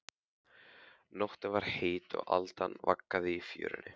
Nóttin var heit og aldan vaggaði í fjörunni.